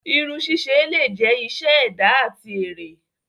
Irun sise le jẹ iṣẹ ẹda ati ere.